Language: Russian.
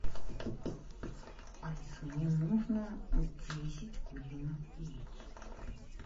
алиса мне нужно десять куриных яиц